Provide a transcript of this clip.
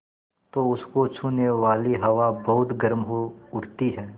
तो उसको छूने वाली हवा बहुत गर्म हो उठती है